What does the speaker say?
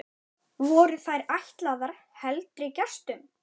Voru þær ætlaðar heldri gestum.